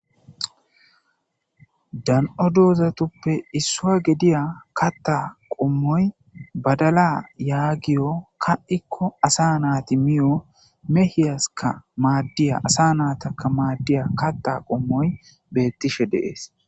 Dan'o dozatupe issuwa gediya katta qomoy badala yagiyo ka'ikko asa nati miyo mehiyaskka madiya asa natakka maddiya katha qomoyi betishe de'es.